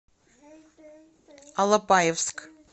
алапаевск